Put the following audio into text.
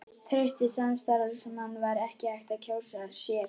Traustari samstarfsmann var ekki hægt að kjósa sér.